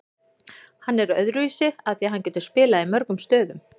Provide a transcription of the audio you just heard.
Hann er öðruvísi af því að hann getur spilað í mörgum stöðum.